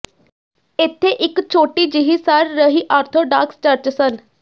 ਇੱਥੇ ਇਕ ਛੋਟੀ ਜਿਹੀ ਸੜ ਰਹੀ ਆਰਥੋਡਾਕਸ ਚਰਚ ਸਨ